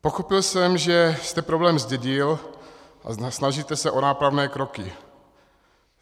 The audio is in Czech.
Pochopil jsem, že jste problém zdědil a snažíte se o nápravné kroky.